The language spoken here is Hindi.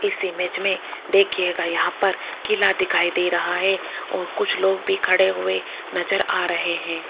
इस इमेज में देखिएगा यहां पर किला दिखाई दे रहा है और कुछ लोग भी खड़े हुए नजर आ रहे हैं।